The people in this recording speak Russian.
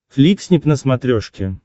фликснип на смотрешке